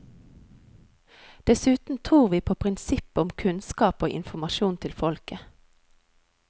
Dessuten tror vi på prinsippet om kunnskap og informasjon til folket.